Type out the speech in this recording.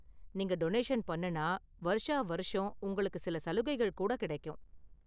நீங்க டொனேஷன் பண்ணுனா வருஷா வருஷம் உங்களுக்கு சில சலுகைகள் கூட கிடைக்கும்.